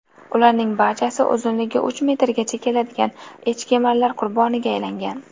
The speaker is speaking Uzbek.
Ularning barchasi uzunligi uch metrgacha keladigan echkemarlar qurboniga aylangan.